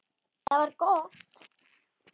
Það var gott